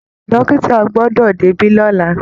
Dọ́kìtà gbọdọ̀ débí lọ́la!